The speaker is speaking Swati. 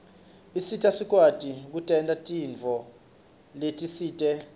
isita sikwati kutentela tintfo letisite